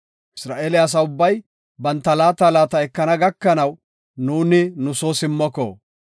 Isra7eele asa ubbay banta laata laata ekana gakanaw, nuuni nu soo simmoko.